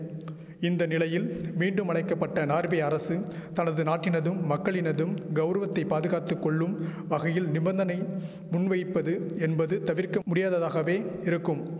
இந்த நிலையில் மீண்டும் அழைக்கபட்ட நார்வே அரசு தனது நாட்டினதும் மக்களினதும் கௌரவத்தை பாதுகாத்துக்கொள்ளும் வகையில் நிபந்தனை முன்வைப்பது என்பது தவிர்க்க முடியாததாகவே இருக்கும்